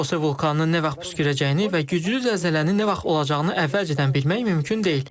Sanxose vulkanının nə vaxt püskürəcəyini və güclü zəlzələnin nə vaxt olacağını əvvəlcədən bilmək mümkün deyil.